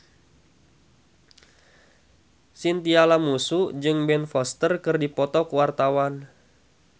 Chintya Lamusu jeung Ben Foster keur dipoto ku wartawan